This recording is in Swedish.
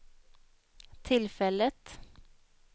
tillfället